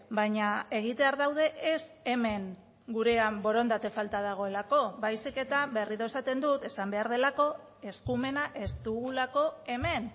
baina egitear daude ez hemen gurean borondate falta dagoelako baizik eta berriro esaten dut esan behar delako eskumena ez dugulako hemen